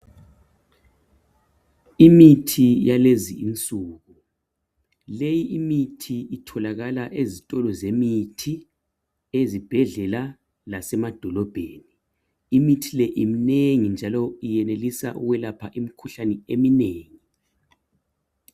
Imithi yalezi insuku leyi imithi itholakala ezitolo zemithi ezibhedlela lasemadolobheni imithi le imnengi njalo iyenelisa ukwelapha imkhuhlane eminengi